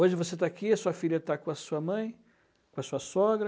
Hoje você está aqui, a sua filha está com a sua mãe, com a sua sogra.